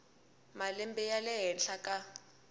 malembe ya le henhla ka